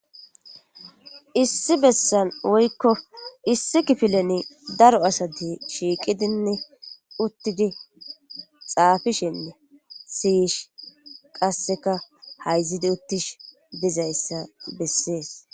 Issi besan woyiko issi kifilen daro asati shiqidinee utidi Xafishenee si'ishe qasini hayizidi utishe dizayisa beses.